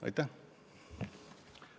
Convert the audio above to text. Aitäh!